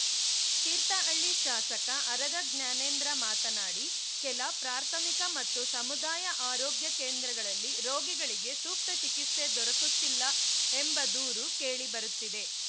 ತೀರ್ಥಹಳ್ಳಿ ಶಾಸಕ ಆರಗ ಜ್ಞಾನೇಂದ್ರ ಮಾತನಾಡಿ ಕೆಲ ಪ್ರಾಥಮಿಕ ಮತ್ತು ಸಮುದಾಯ ಆರೋಗ್ಯ ಕೇಂದ್ರಗಳಲ್ಲಿ ರೋಗಿಗಳಿಗೆ ಸೂಕ್ತ ಚಿಕಿತ್ಸೆ ದೊರಕುತ್ತಿಲ್ಲ ಎಂಬ ದೂರು ಕೇಳಿಬರುತ್ತಿದೆ